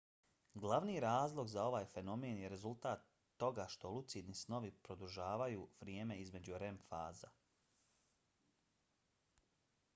glavni razlog za ovaj fenomen je rezultat toga što lucidni snovi produžavaju vrijeme između rem faza